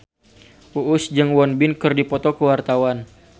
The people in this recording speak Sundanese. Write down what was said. Uus jeung Won Bin keur dipoto ku wartawan